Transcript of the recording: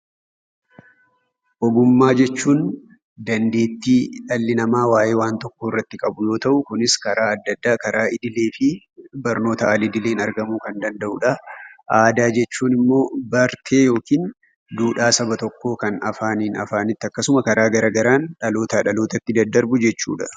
Ogummaa jechuun dandeettii dhalli namaa waayee waan tokkoo irratti qabu yoo ta'u, kunis karaa adda addaa karaa idilee fi barnoota al-idileen argamuu kan danda'udha. Aadaa jechuun immoo bartee yookiin duudhaa saba tokkoo kan afaaniin afaanitti akkasuma karaa garaagaraan dhalootaa dhalootatti daddarbu jechuudha.